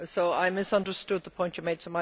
I misunderstood the point you made.